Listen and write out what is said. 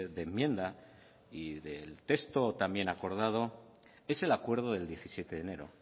de enmienda y del texto también acordado es el acuerdo del diecisiete de enero